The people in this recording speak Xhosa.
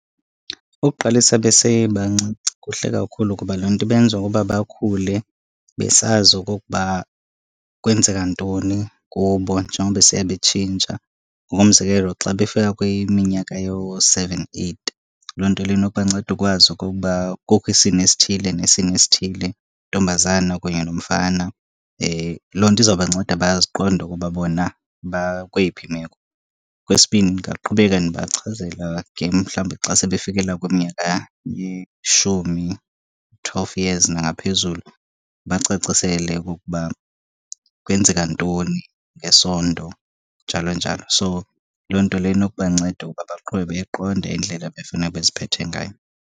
Ukuqalisa besebancinci kuhle kakhulu kuba loo nto ibenza ukuba bakhule besazi okokuba kwenzeka ntoni kubo njengoba besiya betshintsha. Ngokomzekelo, xa befika kwiminyaka yoo-seven, eight loo nto leyo inokubanceda ukwazi okokuba kukho isini esithile nesini esithile, ntombazana kunye nomfana. Loo nto izawubanceda baziqonde ukuba bona bakweyiphi imeko. Okwesibini, ndingaqhubeka ndibachazela again mhlawumbi xa sebefikela kwiminyaka yeshumi, twelve years nangaphezulu. Ndibacacisele okokuba kwenzeka ntoni ngesondo, njalo njalo. So, loo nto leyo inokubanceda ukuba baqwebe iqonde indlela abefuneka beziphethe ngayo.